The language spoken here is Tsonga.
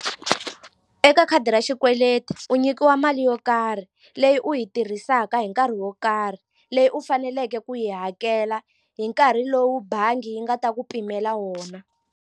Eka khadi ra xikweleti u nyikiwa mali yo karhi leyi u yi tirhisaka hi nkarhi wo karhi leyi u faneleke ku yi hakela hi nkarhi lowu bangi yi nga ta ku pimela wona.